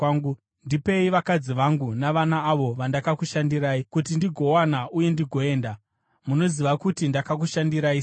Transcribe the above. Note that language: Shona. Ndipei vakadzi vangu navana, avo vandakakushandirai kuti ndigowana, uye ndigoenda. Munoziva kuti ndakakushandirai sei.”